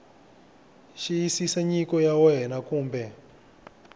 xiyisisa nyiko ya wena kumbe